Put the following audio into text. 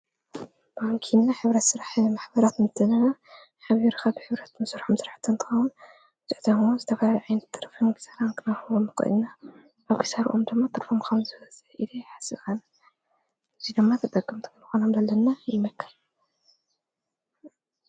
በንኪና ኅብረት ሥራሕ ማኅበራት ምተነና ኃብርኻ ብኅብረት ምሱርምሠርሕ ተንዉን ድዕተዉሙ ዝተባል ዒይን ተርፊን ብሳልንክነሕቦ ምኾእና ባቕሳር ኦም ደማ ጥምምወዘ ኢለ ሓሰቓን ዚለማ ተጠቅምቲ ምንኾነ ኣምለለና ይመከል::